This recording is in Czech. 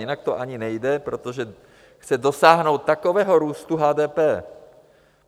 Jinak to ani nejde, protože chce dosáhnout takového růstu HDP.